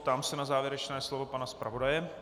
Ptám se na závěrečné slovo pana zpravodaje.